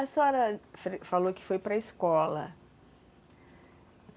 A senhora falou que foi para a escola.